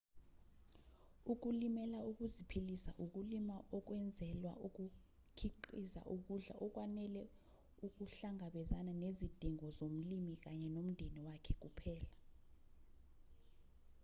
ukulimela ukuziphilisa ukulima okwenzelwa ukukhiqiza ukudla okwanele ukuhlangabezana nezidingo zomlimi kanye nomdeni wakhe kuphela